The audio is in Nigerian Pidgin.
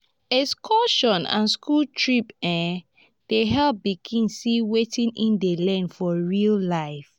excursion and school trip um dey help pikin see wetin e dey learn for real life.